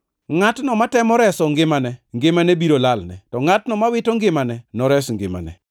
Ngʼatno matemo reso ngimane, ngimane biro lalne, to ngʼatno mowito ngimane, nores ngimane.